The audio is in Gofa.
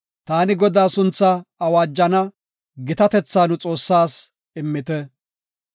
Taani Godaa sunthaa awaajana; gitatetha nu Xoossaas immite.